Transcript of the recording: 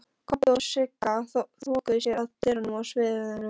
Kobbi og Sigga þokuðu sér að dyrunum að sviðinu.